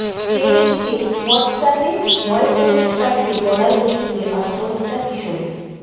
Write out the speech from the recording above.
প্রেমিককে হোয়াটসঅ্যাপে voice message পাঠিয়ে গলায় দড়ি দিয়ে আত্মহত্যা কিশোরীর